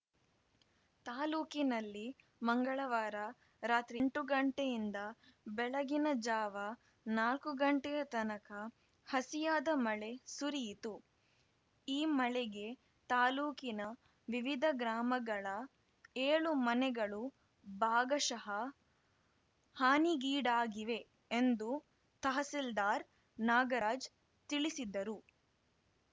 ತಾಲೂಕಿನಲ್ಲಿ ಮಂಗಳವಾರ ರಾತ್ರಿ ಎಂಟು ಗಂಟೆಯಿಂದ ಬೆಳಗಿನ ಜಾವ ನಾಕು ಗಂಟೆಯ ತನಕ ಹಸಿಯಾದ ಮಳೆ ಸುರಿಯಿತು ಈ ಮಳೆಗೆ ತಾಲೂಕಿನ ವಿವಿಧ ಗ್ರಾಮಗಳ ಏಳು ಮನೆಗಳು ಭಾಗಶಃ ಹಾನಿಗೀಡಾಗಿವೆ ಎಂದು ತಹಸೀಲ್ದಾರ್‌ ನಾಗರಾಜ್‌ ತಿಳಿಸಿದರು